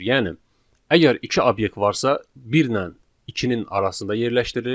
Yəni əgər iki obyekt varsa, bir ilə ikinin arasında yerləşdirilir.